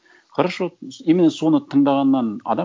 хорошо именно соны тыңдағаннан адам